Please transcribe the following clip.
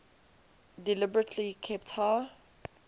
deliberately kept high